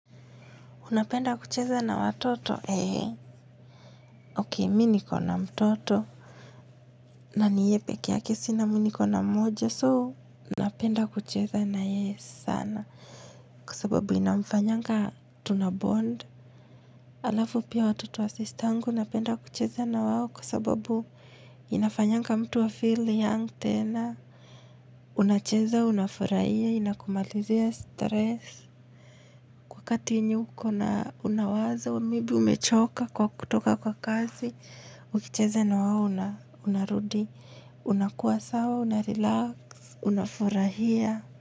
Unapenda kucheza na watoto, ee. Okay, mi niko na mtoto. Na ni yeye pekee yake sina mi niko na mmoja, so. Napenda kucheza na yeye sana. Kwa sababu inamfanyanga tunabond. Alafu pia watoto wa sistangu napenda kucheza na wao kwa sababu inafanyanga mtu afeel young tena. Unacheza, unafurahia, inakumalizia stress. Wakati yenye uko na una wazo, maybe umechoka kwa kutoka kwa kazi. Ukicheza na wao una, unarudi, unakuwa sawa, unarelax, unafurahia.